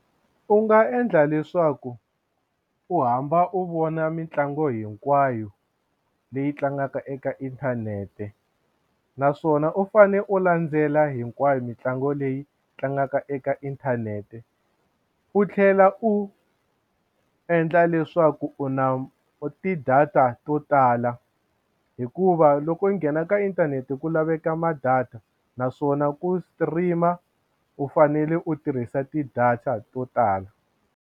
U nga endla leswaku u hamba u vona mitlangu hinkwayo leyi tlangaka eka inthanete naswona u fane u landzela hinkwayo mitlangu leyi tlangaka eka inthanete u tlhela u endla leswaku u na ti-data to tala hikuva loko u nghena ka inthanete ku laveka ma data naswona ku stream-a u fanele u tirhisa ti-data to tala.